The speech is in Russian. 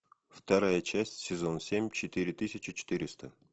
вторая часть сезон семь четыре тысячи четыреста